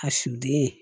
A suden